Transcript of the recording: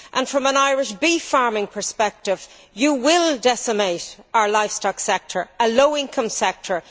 And, from an Irish beef farming perspective, you will decimate our livestock sector, a low income sector.